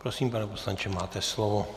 Prosím, pane poslanče, máte slovo.